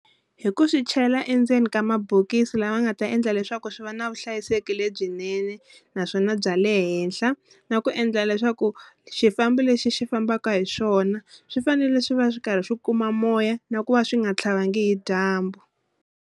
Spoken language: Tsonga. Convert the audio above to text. Hi ku swi chela endzeni ka mabokisi lama nga ta endla leswaku swi va na vuhlayiseki lebyinene naswona bya le henhla na ku endla leswaku xifambi lexi xi fambaka hi swona swi fanele swi va swi karhi swi kuma moya na ku va swi nga tlhavangi hi dyambu.